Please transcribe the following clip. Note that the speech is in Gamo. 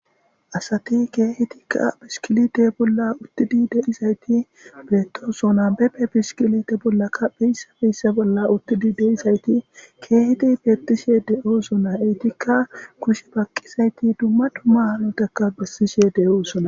Asati keehetikka piskilite bolla uttidi deizayti beettosona beppe piskilite bollaka beyssa beyssa bolla uttidi deizayti keeheti beettishe de'osona eytikka kushe paqqizayti dumma duma anotakka bessishe de'oosona